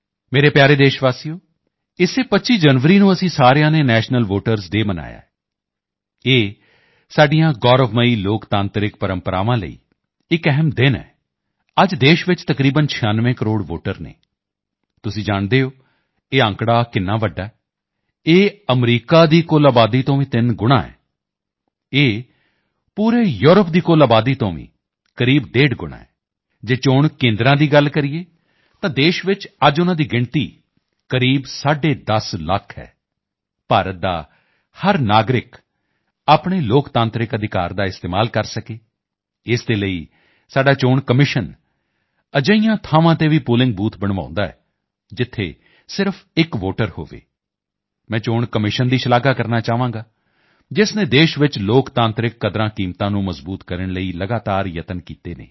ਮੇਰੇ ਪਿਆਰੇ ਦੇਸ਼ਵਾਸੀਓ ਇਸੇ 25 ਜਨਵਰੀ ਨੂੰ ਅਸੀਂ ਸਾਰਿਆਂ ਨੇ ਨੈਸ਼ਨਲ ਵੋਟਰਸ ਡੇ ਮਨਾਇਆ ਹੈ ਇਹ ਸਾਡੀਆਂ ਗੌਰਵਮਈ ਲੋਕਤਾਂਤਰਿਕ ਪ੍ਰੰਪਰਾਵਾਂ ਲਈ ਇੱਕ ਅਹਿਮ ਦਿਨ ਹੈ ਅੱਜ ਦੇਸ਼ ਵਿੱਚ ਤਕਰੀਬਨ 96 ਕਰੋੜ ਵੋਟਰ ਹਨ ਤੁਸੀਂ ਜਾਣਦੇ ਹੋ ਇਹ ਅੰਕੜਾ ਕਿੰਨਾ ਵੱਡਾ ਹੈ ਇਹ ਅਮਰੀਕਾ ਦੀ ਕੁਲ ਆਬਾਦੀ ਤੋਂ ਵੀ ਤਕਰੀਬਨ ਤਿੰਨ ਗੁਣਾਂ ਹੈ ਇਹ ਪੂਰੇ ਯੂਰਪ ਦੀ ਕੁਲ ਆਬਾਦੀ ਤੋਂ ਵੀ ਕਰੀਬ ਡੇਢ ਗੁਣਾਂ ਹੈ ਜੇ ਚੋਣ ਕੇਂਦਰਾਂ ਦੀ ਗੱਲ ਕਰੀਏ ਤਾਂ ਦੇਸ਼ ਚ ਅੱਜ ਉਨ੍ਹਾਂ ਦੀ ਗਿਣਤੀ ਕਰੀਬ ਸਾਢੇ 10 ਲੱਖ ਹੈ ਭਾਰਤ ਦਾ ਹਰ ਨਾਗਰਿਕ ਆਪਣੇ ਲੋਕਤਾਂਤਰਿਕ ਅਧਿਕਾਰ ਦਾ ਇਸਤੇਮਾਲ ਕਰ ਸਕੇ ਇਸ ਦੇ ਲਈ ਸਾਡਾ ਚੋਣ ਕਮਿਸ਼ਨ ਅਜਿਹੀਆਂ ਥਾਵਾਂ ਤੇ ਵੀ ਪੋਲਿੰਗ ਬੂਥ ਬਣਵਾਉਂਦਾ ਹੈ ਜਿੱਥੇ ਸਿਰਫ਼ ਇੱਕ ਵੋਟਰ ਹੋਵੇ ਮੈਂ ਚੋਣ ਕਮਿਸ਼ਨ ਦੀ ਸ਼ਲਾਘਾ ਕਰਨਾ ਚਾਹਾਂਗਾ ਜਿਸ ਨੇ ਦੇਸ਼ ਚ ਲੋਕਤਾਂਤਰਿਕ ਕਦਰਾਂਕੀਮਤਾਂ ਨੂੰ ਮਜ਼ਬੂਤ ਕਰਨ ਲਈ ਲਗਾਤਾਰ ਯਤਨ ਕੀਤੇ ਹਨ